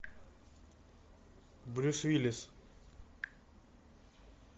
брюс уиллис